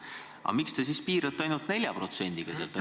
Aga miks te siis piirdute ainult 4%-ga?